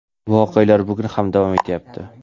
voqealar bugun ham davom etyapti.